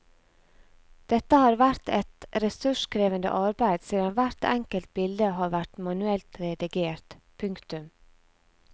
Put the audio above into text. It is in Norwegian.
Dette har vært et ressurskrevende arbeid siden hvert enkelt bilde har vært manuelt redigert. punktum